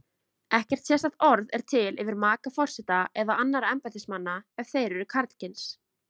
Ekkert sérstakt orð er til yfir maka forseta eða annarra embættismanna ef þeir eru karlkyns.